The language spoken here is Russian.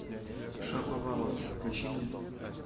шаповалов включи мне